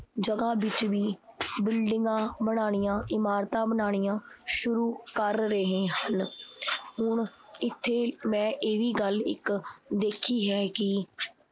ਜਗ੍ਹਾ ਵਿਚ ਵੀ ਬਿਲਡਿੰਗਾਂ ਬਣਾਣੀਆਂ, ਇਮਾਰਤਾਂ ਬਣਾਣੀਆਂ ਸ਼ੁਰੂ ਕਰ ਰਹੇ ਹਨ। ਹੁਣ ਇਥੇ ਮੈਂ ਇਹ ਵੀ ਗੱਲ ਇਕ ਦੇਖੀ ਹੈ ਕੀ